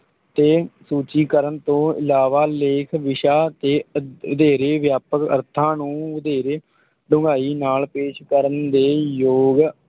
ਤੇ ਸੂਚੀਕਰਨ ਤੋਂ ਇਲਾਵਾ, ਲੇਖ ਵਿਸ਼ਾ ਤੇ ਅ~ ਵਧੇਰੇ ਵਿਆਪਕ ਅਰਥਾਂ ਨੂੰ ਵਧੇਰੇ ਡੂੰਘਾਈ ਨਾਲ ਪੇਸ਼ ਕਰਨ ਦੇ ਯੋਗ